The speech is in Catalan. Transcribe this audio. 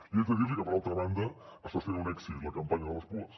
li haig de dir que per altra banda està sent un èxit la campanya de les puas